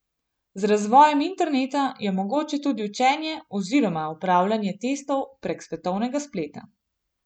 Z razvojem interneta je mogoče tudi učenje oziroma opravljanje testov prek svetovnega spleta.